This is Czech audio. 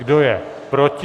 Kdo je proti?